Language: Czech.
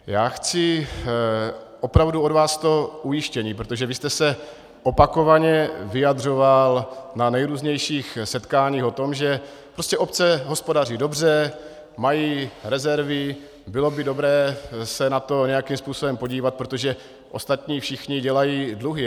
Já chci opravdu od vás to ujištění, protože vy jste se opakovaně vyjadřoval na nejrůznějších setkáních o tom, že prostě obce hospodaří dobře, mají rezervy, bylo by dobré se na to nějakým způsobem podívat, protože ostatní všichni dělají dluhy.